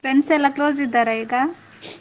Friends ಎಲ್ಲಾ close ಇದ್ದಾರ ಈಗ?